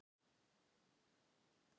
Eruð þið með forgjöf allir?